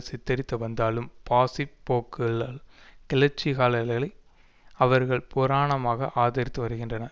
சித்தரித்து வந்தாலும் பாசிப் போக்குள்ள கிளர்ச்சிகாரர்களை அவர்கள் பூரணமாக ஆதரித்து வருகின்றனர்